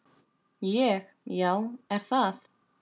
Ég: Já er það?